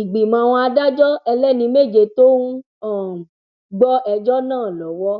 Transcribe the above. ìgbìmọ àwọn adájọ ẹlẹni méje tó ń um gbọ ẹjọ náà lọwọ